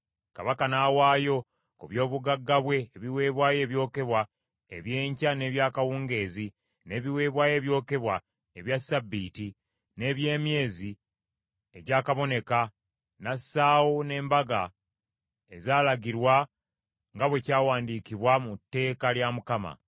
Kabaka n’awaayo ku byobugagga bwe ebiweebwayo ebyokebwa eby’enkya n’eby’akawungeezi, n’ebiweebwayo ebyokebwa ebya ssabbiiti, n’eby’emyezi egyakaboneka, n’assaawo n’embaga ezaalagirwa nga bwe kyawandiikibwa mu tteeka lya Mukama .